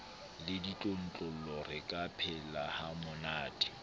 le ditlontlollo re ka phelahamonate